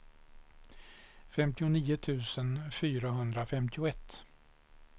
femtionio tusen fyrahundrafemtioett